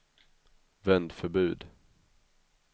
vändförbud